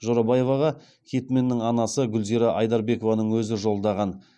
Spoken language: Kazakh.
жорабаеваға хитменнің анасы гүлзира айдарбекованың өзі жолдаған